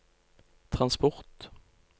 transport